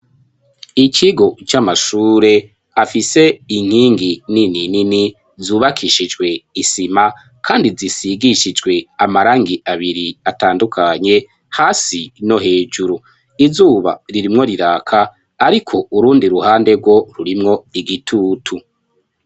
Ikigo c'amashure afise inkingi nini nini zubakishijwe isima kandi zisigishijwe amarangi abiri atandukanye hasi no hejuru izuba ririmwo riraka ariko urundi ruhande rwo rurimwo igitutu.